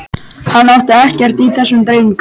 Hann átti ekkert í þessum dreng.